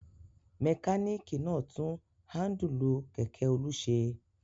Mẹkáníkì náà tún háńdùlù kẹ̀kẹ́ Olú ṣe.